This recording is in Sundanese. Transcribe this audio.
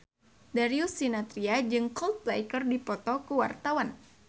Darius Sinathrya jeung Coldplay keur dipoto ku wartawan